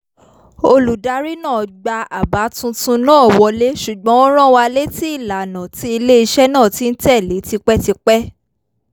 olùdarí náà gba àbá tuntun náà wọlé ṣùgbọ́n ó rán wa létí ìlànà tí ilé-iṣẹ́ náà ti ń tẹ̀lé tipẹ́tipẹ́